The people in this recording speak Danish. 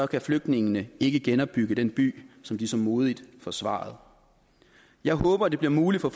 kan flygtningene ikke genopbygge den by som de så modigt forsvarede jeg håber det bliver muligt for